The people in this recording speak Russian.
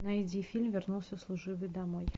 найди фильм вернулся служивый домой